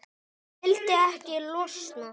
Vildi ekki losna.